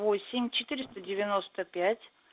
восемь четыреста девяносто пять